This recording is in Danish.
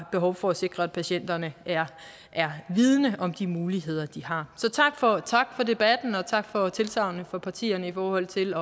behov for at sikre at patienterne er vidende om de muligheder de har så tak for tak for debatten og tak for tilsagnene fra partierne i forhold til